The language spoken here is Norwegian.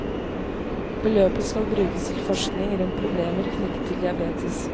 Beløpet skal brukes til forskning rundt problemer knyttet til diabetes.